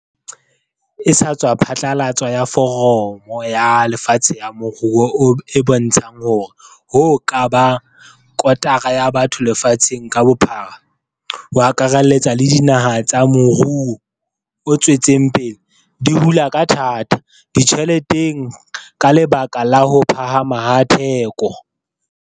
E sa tswa phatlalatswa ya Foramo ya Lefatshe ya Moruo e bontsha hore hoo ka bang kotara ya batho lefatsheng ka bophara, ho akarelletsa le dinaha tsa morou o tswetseng pele, di hula ka thata ditjheleteng ka lebaka la ho phahama ha ditheko.